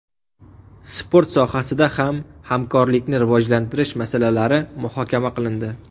Sport sohasida ham hamkorlikni rivojlantirish masalalari muhokama qilindi.